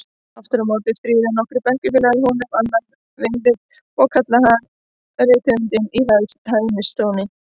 Aftur á móti stríða nokkrir bekkjarfélagar honum annað veifið og kalla hann rithöfundinn í hæðnistóni.